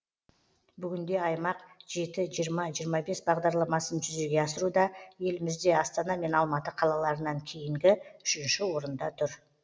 бүгінде аймақ жеті жиырма жиырма бес бағдарламасын жүзеге асыруда елімізде астана мен алматы қалаларынан кейінгі үшінші орында тұр